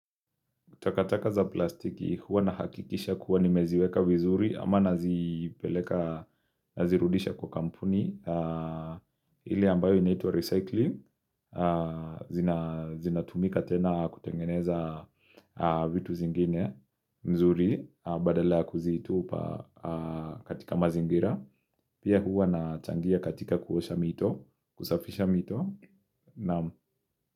Takataka za plastiki, huwa nahakikisha kuwa nimeziweka vizuri ama nazipeleka, nazirudisha kwa kampuni ile ambayo inaitwa recycling, zinatumika tena kutengeneza vitu zingine mzuri badala ya kuzitupa katika mazingira Pia huwa nachangia katika kuosha mito, kusafisha mito Naam.